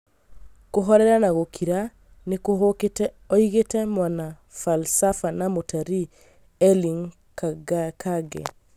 Kũhorera na gũkira nĩkũhukĩte oigĩte Mwanafalsafa na mũtarii Erling Kagge